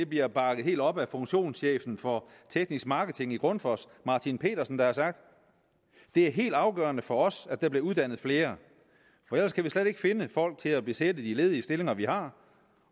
bliver bakket helt op af funktionschefen for teknisk marketing i grundfos martin pedersen der har sagt det er helt afgørende for os at der bliver uddannet flere for ellers kan vi slet ikke finde folk til at besætte de ledige stillinger vi har